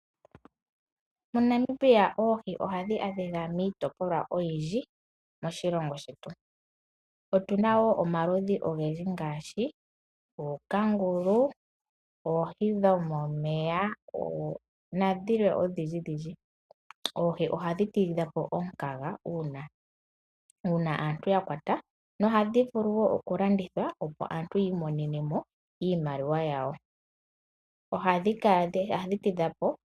MoNamibia oohi ohadhi adhika kiitopolwa oyindji moshilongo shetu, Otu na wo omaludhi ogendji ngaashi ookangulu, oohi dhomomeya nadhilwe odhindji dhindji. Oohi ohadhi tidha po omukaga uuna aantu ya kwata nohadhi vulu wo okulandithwa, opo aantu yi imonene mo iimaliwa yawo.